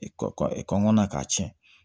Kɔngɔ na k'a tiɲɛ